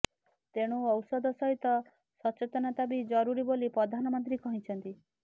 ତେଣୁ ଔଷଧ ସହିତ ସଚେତନତା ବି ଜରୁରୀ ବୋଲି ପ୍ରଧାନମନ୍ତ୍ରୀ କହିଛନ୍ତି